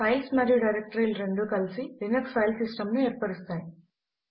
files మరియు directory లు రెండూ కలిసి లినక్స్ ఫైల్ సిస్టం ను ఏర్పరుస్తాయి